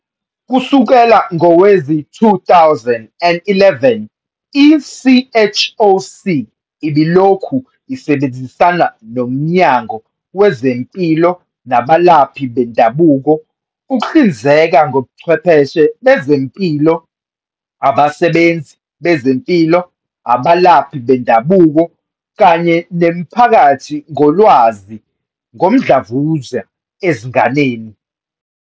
Kusukela ngowezi-2011, i-CHOC ibilokhu isebenzisana noMnyango Wezempilo nabalaphi bendabuko ukuhlinzeka ngochwepheshe bezempilo, abasebenzi bezempilo, abalaphi bendabuko kanye nemiphakathi ngolwazi ngomdlavuza ezinganeni.